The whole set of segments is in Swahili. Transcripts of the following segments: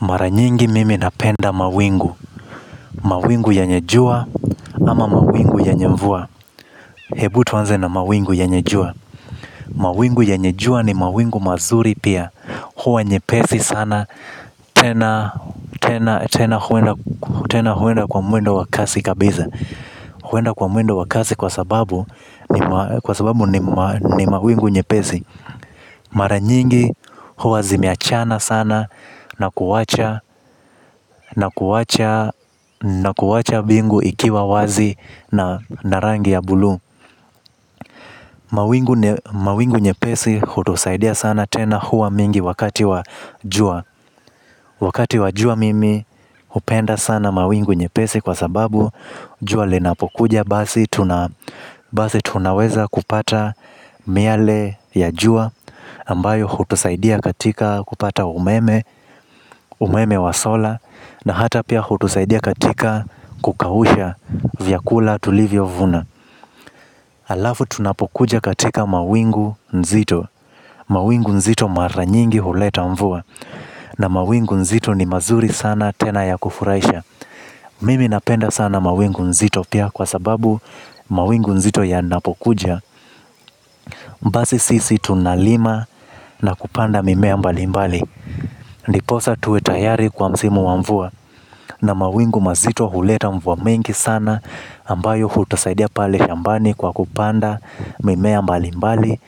Mara nyingi mimi napenda mawingu, mawingu yenye jua ama mawingu yenye mvua hebu tuanze na mawingu yenye jua. Mawingu yenye jua ni mawingu mazuri pia. Huwa nyepesi sana, tena huenda kwa mwendo wakasi kabisa. Huenda kwa muendo wa kasi kwa sababu ni mawingu nyepesi. Mara nyingi huwa zimeachana sana na kuwacha bingu ikiwa wazi na rangi ya buluu. Mawingu nyepesi hutusaidia sana tena huwa mingi wakati wa jua. Wakati wa jua mimi hupenda sana mawingu nyepesi kwa sababu jua linapokuja. Basi tunaweza kupata miale ya jua ambayo hutusaidia katika kupata umeme. Umeme wa solar. Na hata pia hutusaidia katika kukausha vyakula tulivyo vuna halafu tunapokuja katika mawingu nzito. Mawingu nzito mara nyingi huleta mvua. Na mawingu nzito ni mazuri sana tena ya kufurahisha. Mimi napenda sana mawingu nzito pia kwa sababu mawingu nzito yanapokuja basi sisi tunalima na kupanda mimea mbali mbali. Ndiposa tuwe tayari kwa msimu wa mvua. Na mawingu mazito huleta mvua mingi sana ambayo hutusaidia pale shambani kwa kupanda mimea mbali mbali.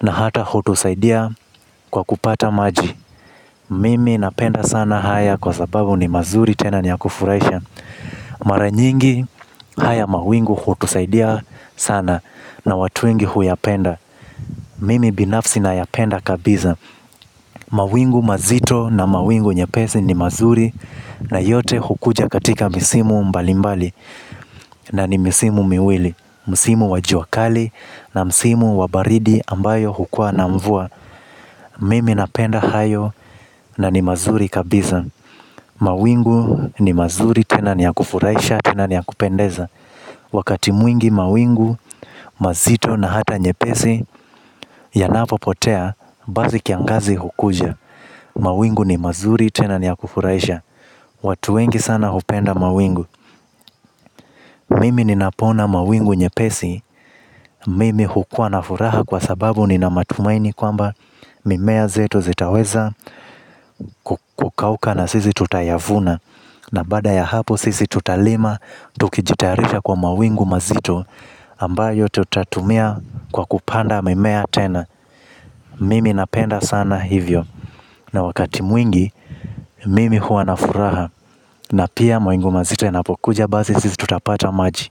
Na hata hutusaidia kwa kupata maji. Mimi napenda sana haya kwa sababu ni mazuri tena ni ya kufurahisha. Mara nyingi haya mawingu hutusaidia sana. Na watu wengi huyapenda. Mimi binafsi nayapenda kabisa mawingu mazito na mawingu nyepesi ni mazuri na yote hukuja kwa misimu mbalimbali. Na ni misimu miwili. Misimu wa jua kali na msimu wa baridi ambayo hukua na mvua. Mimi napenda hayo na ni mazuri kabisa. Mawingu ni mazuri tena ni ya kufurahisha tena ni ya kupendeza. Wakati mwingi mawingu mazito na hata nyepesi yanapo potea, basi kiangazi hukuja. Mawingu ni mazuri tena ni ya kufurahisha. Watu wengi sana hupenda mawingu. Mimi ninapoona mawingu nyepesi. Mimi hukuwa na furaha kwa sababu nina matumaini kwamba mimea zetu zitaweza kukauka na sisi tutayavuna. Na baada ya hapo sisi tutalima tukijitayarisha kwa mawingu mazito ambayo tutatumia kwa kupanda mimea tena. Mimi napenda sana hivyo. Na wakati mwingi mimi huwa na furaha na pia mawingu mazito yanapokuja basi sisi tutapata maji.